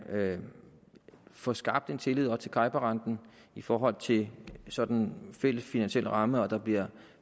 får skabt en tillid til cibor renten i forhold til sådan en fælles finansiel ramme og at der bliver